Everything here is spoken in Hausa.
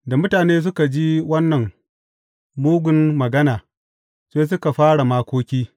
Da mutane suka ji wannan mugun magana, sai suka fara makoki.